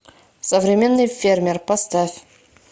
современный фермер поставь